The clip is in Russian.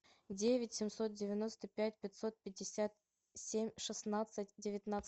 девять семьсот девяносто пять пятьсот пятьдесят семь шестнадцать девятнадцать